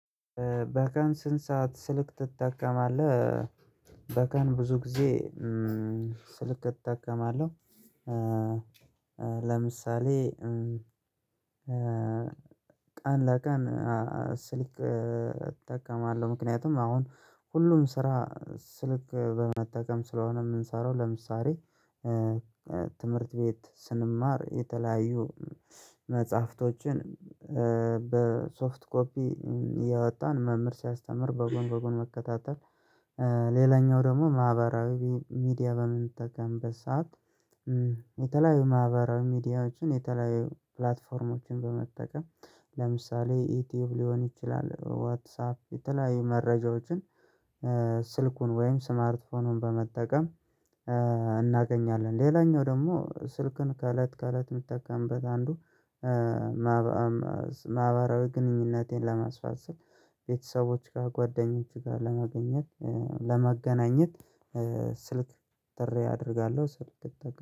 በቀን ስንት ሰዓት ስልክ ትጠቀማለህ? በቀን ብዙ ጊዜ ስልክ እጠቀማለሁ። ለምሳሌ ቀን ለቀን ስልክ እጠቀማለሁ ምክንያቱም አሁን ሁሉም ስራ ስልክ በመጠቀም ስለሆነ የምንሰራው ለምሳሌ ትምህርት ቤት ስንማር የተለያዩ መጽሐፍቶችን በሶፍት ኮፒ እየወጣን መምህር ሲያስተምር በጎን በጎን መከታተል። ሌላኛው ደግሞ ማህበራዊ ሚዲያ በምንጠቀምበት ሰዓት የተለያዩ ማህበራዊ ሚዲያዎችን የተለያዩ ፕላትፎርሞችን በመጠቀም ለምሳሌ ዩቲዩብ ሊሆን ይችላል። ዋትሳፕ የተለያዩ መረጃዎችን ስልኩን ወይም ስማርትፎኑን በመጠቀም እናገኛለን። ሌላኛው ደግሞ ስልክን ከእለት ከእለት የምጠቀምበት አንዱ ማህበራዊ ግንኙነቴን ለማስፋት ስል ቤተሰቦች ጋር ጓደኞች ጋር ለመገኘት ለመገናኘት ስልክ ጥሪ አደርጋለሁ። ስልክ እጠቀማለሁ